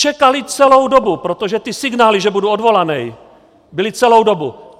Čekali celou dobu, protože ty signály, že budu odvolaný, byly celou dobu.